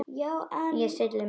En ég stilli mig.